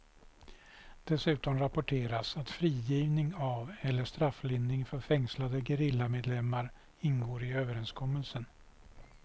Dessutom rapporteras att frigivning av eller strafflindring för fängslade gerillamedlemmar ingår i överenskommelsen.